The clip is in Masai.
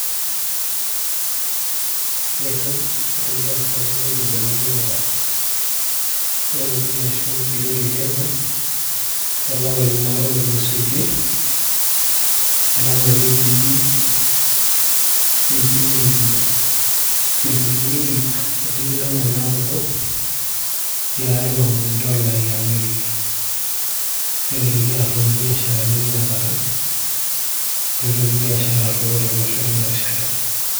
etu itoki asapuku enkibelekenyata eropiyia ashu echilingi ekenya too lapaitin are otulusoitie eton ake etii enchingi inchilingini ip otikitam onaudo tialo dola eemerika , netu itoki aroyo ibiasharani tinakata, etu itoki aroyo biashara tolosho tina rishata.